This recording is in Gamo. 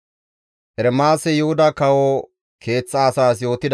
GODAY, «Duge Yuhuda kawo soo baada,